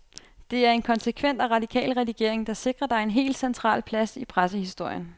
Det er en konsekvent og radikal redigering, der sikrer dig en helt central plads i pressehistorien.